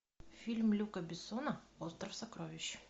фильм люка бессона остров сокровищ